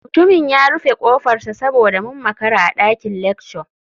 Mutumin ya rufe kofarsa saboda mun makara a dakin lecture.